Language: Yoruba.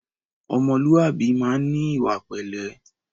Ọmọlúwàbí máa ń ní ìwà pẹ̀lẹ́